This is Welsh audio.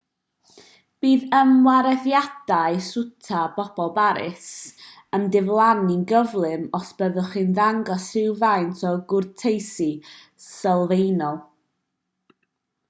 bydd ymarweddiadau swta pobl paris yn diflannu'n gyflym os byddwch chi'n dangos rhywfaint o gwrteisi sylfaenol